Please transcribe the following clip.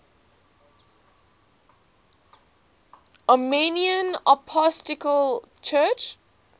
armenian apostolic church